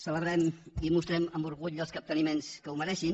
celebrem i mostrem amb orgull els capteniments que ho mereixin